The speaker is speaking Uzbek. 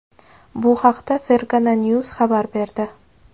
Bu haqda Fergana News xabar berdi .